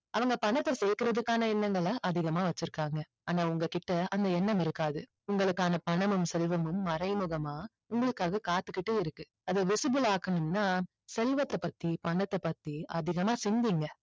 அவங்க பணத்த சேர்க்கறதுக்கான எண்ணங்களை அதிகமா வச்சி இருக்காங்க ஆனா உங்க கிட்ட அந்த எண்ணம் இருக்காது உங்களுக்கான பணமும் செல்வமும் மறைமுகமா உங்களுக்காக காத்துகிட்டே இருக்கு அதை visible ஆக்கணும்னா செல்வத்தை பத்தி பணத்தை பத்தி அதிகமா சிந்திங்க